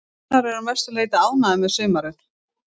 Gunnar er að mestu leiti ánægður með sumarið.